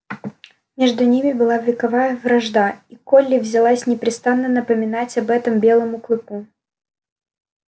между ними была вековая вражда и колли взялась непрестанно напоминать об этом белому клыку